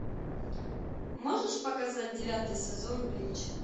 можешь показать девятый сезон блич